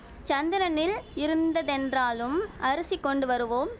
சந்திரனில் இருந்ததென்றாலும் அரிசி கொண்டு வருவோம்